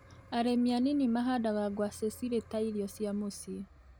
Arĩmi a nini mahandaga ngwacĩ cirĩ ta irio cia mũciĩ.